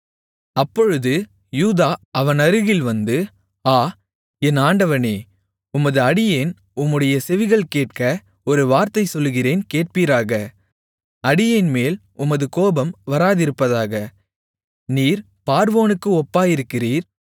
அப்பொழுது யூதா அவனருகில் வந்து ஆ என் ஆண்டவனே உமது அடியேன் உம்முடைய செவிகள் கேட்க ஒரு வார்த்தை சொல்லுகிறேன் கேட்பீராக அடியேன்மேல் உமது கோபம் வராதிருப்பதாக நீர் பார்வோனுக்கு ஒப்பாயிருக்கிறீர்